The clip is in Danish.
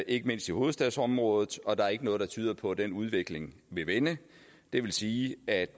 ikke mindst i hovedstadsområdet og der er ikke noget der tyder på at den udvikling vil vende det vil sige at